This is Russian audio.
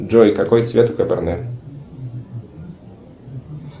джой какой цвет каберне